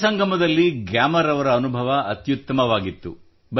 ಯುವ ಸಂಗಮದಲ್ಲಿ ಗ್ಯಾಮರ್ ಅವರ ಅನುಭವ ಅತ್ಯುತ್ತಮವಾಗಿತ್ತು